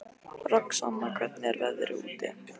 Roxanna, hvernig er veðrið úti?